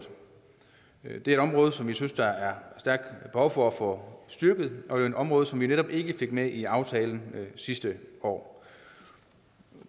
det område som vi synes der er stærkt behov for at få styrket og et område som vi netop ikke fik med i aftalen sidste år